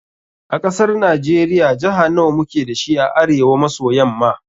A ƙasar najiriya Jaha nawa muke dashi a arewa maso yamma?